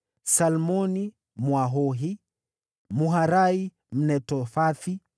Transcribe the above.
Salmoni, Mwahohi; Maharai, Mnetofathi;